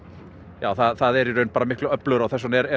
já það er öflugra og þess vegna er